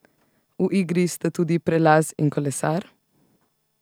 V igri sta tudi prelaz in kolesar?